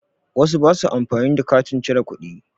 Wasu ba su amfani da katin cire kuɗi